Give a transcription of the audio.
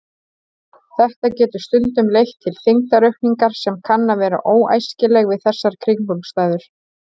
Þetta getur stundum leitt til þyngdaraukningar sem kann að vera óæskileg við þessar kringumstæður.